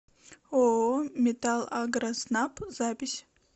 ооо металлагроснаб запись